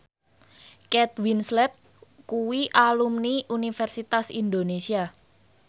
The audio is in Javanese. Kate Winslet kuwi alumni Universitas Indonesia